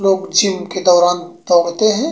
लोग जिम दौरान दौड़ते हैं।